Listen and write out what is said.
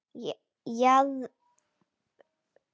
Jaðrar það ekki við ofstæki?